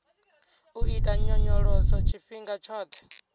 u ita nyonyoloso tshifhinga tshoṱhe